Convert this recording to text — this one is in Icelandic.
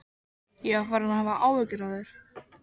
Ég var farinn að hafa áhyggjur af þér.